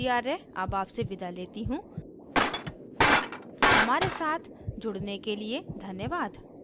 I I T Bombay से मैं श्रुति आर्य अब आपसे विदा लेती हूँ हमारे साथ जुड़ने के लिए धन्यवाद